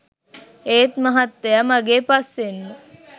ඒත් මහත්තයා මගේ පස්සෙන්ම